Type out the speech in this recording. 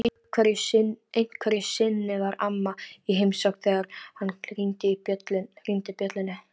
Einhverju sinni var amma í heimsókn þegar hann hringdi bjöllunni.